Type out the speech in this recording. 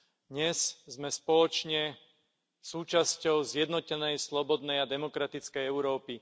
Dnes sme spoločne súčasťou zjednotenej, slobodnej a demokratickej Európy.